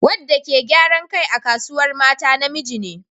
Wadda ke gyaran kai a Kasuwar Mata namiji ne.